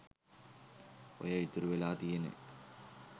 ඔය ඉතුරු වෙලා තියෙන